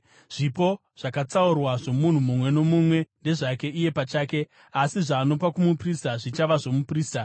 Zvipo zvakatsaurwa zvomunhu mumwe nomumwe ndezvake iye pachake, asi zvaanopa kumuprista zvichava zvomuprista.’ ”